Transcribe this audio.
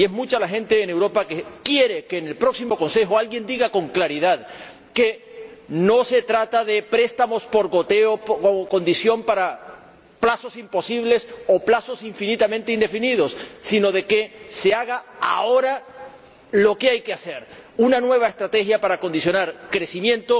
Y es mucha la gente en Europa que quiere que en el próximo Consejo alguien diga con claridad que no se trata de préstamos por goteo o de plazos imposibles o plazos infinitamente indefinidos, sino de que se haga ahora lo que hay que hacer una nueva estrategia para acondicionar crecimiento,